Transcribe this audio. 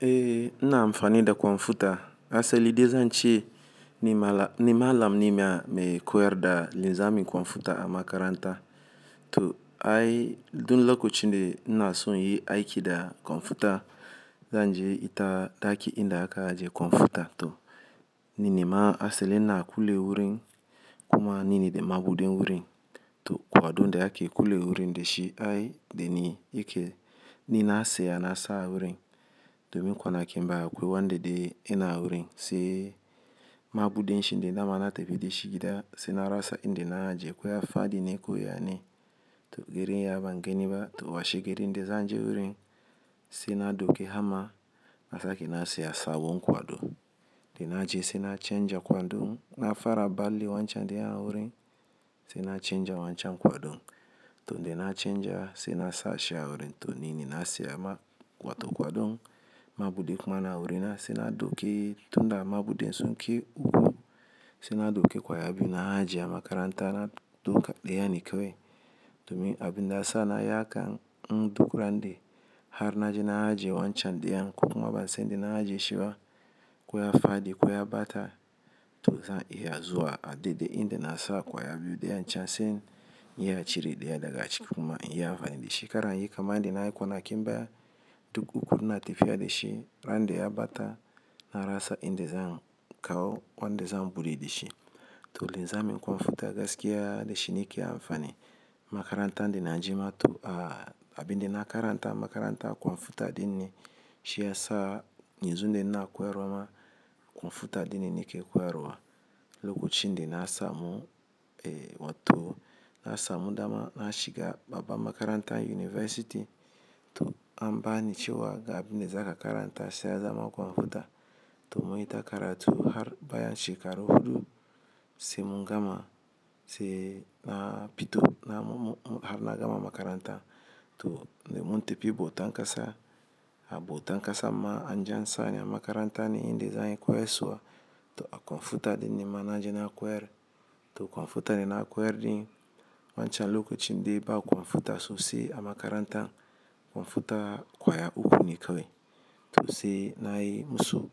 Eh ina amfani da kwamfuta. Asali, dai zan ce ni malam ne ma mai koyar da lissamin kwamfuta a makaranta. To ai, dun lokacin da ina so yi aiki da kwamfuta, zan je ita daki inda aka ajiye kwamfuta. To ni nema asali na kule wurin kuma nine da mabudin wurin. To kwadon da ake kulle wurin dai shi ai da ni yake ni na saya nasa wurin domin kwana kin baya akwai wanda dai ina wurin. Sai mabudin shi ne da ma na tafi da shi gida. Sai na rasa inda na ajiye. Ko ya fadi ne ko yane. To girin ya banga ni ba. To washe girin dai zan je wurin. Sai na duke hama. Na sake na saya sabon kwado. Da na je sai na canja kwadon. Na fara ɓalle wancan dai a wurin. Sai na canja wancan kwadon. To dai na canja sai na sashi a wurin. To nini na saya ma kwato kwadon. Mabudin kuma na wurin sai na duke tunda mabudin sunkai uku. Sai na duke kwaya biyu na ajiye makaranta na duka ɗaya ne kawai. Domin abin da syasa na yi haka in duk ran da har na je na ajiye wancan ɗayan kuma ban san in da na ajiye shi ba. Ko ya fadi ko ya ɓata to za'a iya zuwa a daidai inda na sa ƙwaya biyu ɗaya a can. Sai in iya cire ɗaya daga ciki kuma in iya amfani da shi. Na fara yi kaman yan da yan da nayi kwana kin baya tun uku ina tafiya da shi. Ran da ya ɓata na rasa inda zan kawo wanda zan buɗe da shi. To linzamim computer gaskiya da shi ni ke amfani. Makaranta da na je ma kam abin da na karanta makaranta computer ɗin ne shi ya sa yanzu da ina koyarwa ma. Computer dai ne nike koyarwa. Lokacin da na samu eh wato na samu dama na shiga babbar makaranta university to an bani cewa ga abin da zaka karanta sai ya zama computer. To mun ita karatu har bayan shekara huɗu sai mun gama sai na fito na har na gama makaranta. To dai mun tafi bautan ƙasa a bautan ƙasa ma an je an sani a makaranta ne inda zan yi koyaswa to a computer ɗin ne ma na je na koyar. To kwamfuta dai na koyar dai wancan lokacin dai ba kwamfuta sosai a makaranta. Computer ƙwaya uku ne kawai. To sai na yi musu